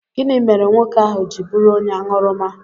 Gịnị mere nwoke ahụ ji bụrụ onye aṅụrụma?